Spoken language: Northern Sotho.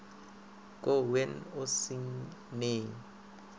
go wean e seng neng